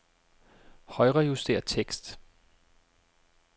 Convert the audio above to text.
Højrejuster tekst.